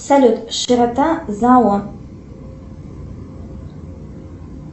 салют широта зала